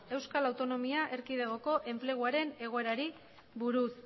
euskal autonomia erkidegoko enpleguaren egoerari buruz